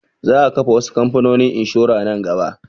Za a kafa wasu kamfanonin inshura nan gaba